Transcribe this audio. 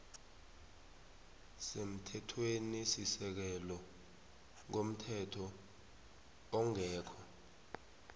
semthethwenisisekelo komthetho ongekho